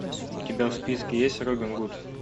у тебя в списке есть робин гуд